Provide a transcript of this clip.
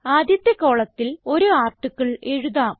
ആദ്യത്തെ കോളത്തിൽ ഒരു ആർട്ടിക്കിൾ എഴുതാം